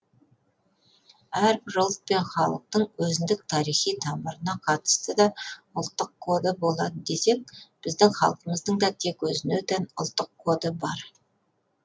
әрбір ұлт пен халықтың өзіндік тарихи тамырына қатысты да ұлттық коды болады десек біздің халқымыздың да тек өзіне тән ұлттық коды бар